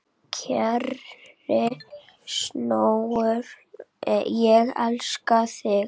Kæri sonur, ég elska þig.